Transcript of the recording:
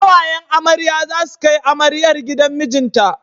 Ƙawayen amarya za su kai amaryar gidan mijinta.